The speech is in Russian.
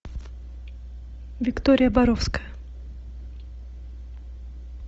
виктория боровская